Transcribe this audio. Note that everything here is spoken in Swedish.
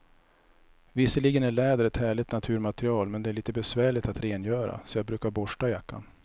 Visserligen är läder ett härligt naturmaterial, men det är lite besvärligt att rengöra, så jag brukar borsta jackan.